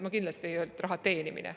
Ma kindlasti ei öelnud, et raha teenimine.